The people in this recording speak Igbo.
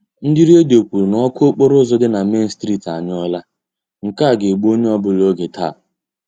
Ndị Redio kwuru na ọkụ okporo ụzọ dị na Main street anyụọla; nke a ga-egbu onye ọbụla oge taa.